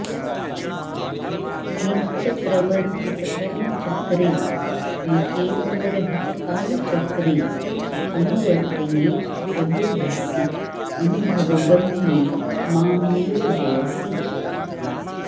नित्यप्रवर्तित कर्मचक्रे निकेतनरहित कालचक्रे अनुवर्तयेति प्रबोधसि अनुभव गम्ये मां नियोजयसि